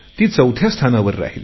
ती चौथ्या स्थानावर राहिली